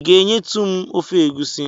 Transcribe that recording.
I ga-enyetụ m ofe egusi?